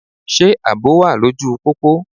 Ṣé àbò wà lóju u pópó?